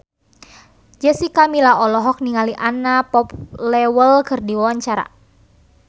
Jessica Milla olohok ningali Anna Popplewell keur diwawancara